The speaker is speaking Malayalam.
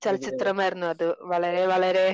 ചലച്ചിത്രമായിരുന്നു അത് വളരെ വളരെ